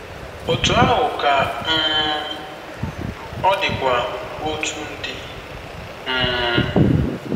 Otú ahụ ka um ọ dịkwa otu ndị. um